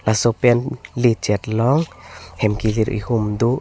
laso pen le chet long hem kilir ehum do.